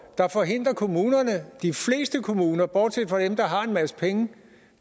der forhindrer kommunerne de fleste kommuner bortset fra dem der har en masse penge